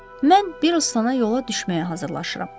Mən Biristona yola düşməyə hazırlaşıram.